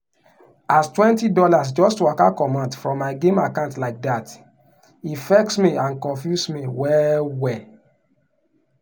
as twenty dollars just waka comot from my game account like that e vex me and confuse me well-well.